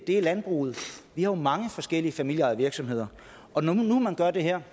er landbruget vi har mange forskellige familieejede virksomheder og når nu man gør det her